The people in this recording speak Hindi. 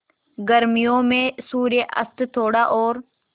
गर्मियों में सूर्यास्त थोड़ा और